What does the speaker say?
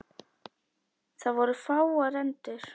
Það voru fáar endur.